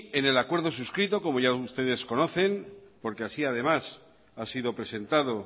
en el acuerdo suscrito como ya ustedes conocen porque así además ha sido presentado